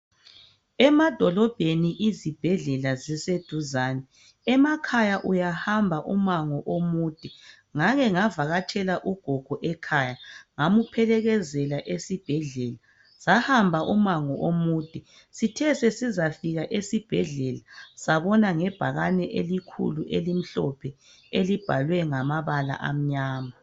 Emadolobheni izibhedlela ziseduzane. Emakhaya uyahamba umango omude. Ngake ngavakatshela ugogo ekhaya ngamphelekezela esibhedlela. Sahamba umango omude sithe sesizafika esibhedlela sabona ngebhakane elikhulu elimhlophe elibhalwe ngamabala amnyama.